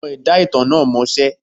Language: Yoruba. Àwọn ẹ̀dá ìtàn náà mọṣẹ́.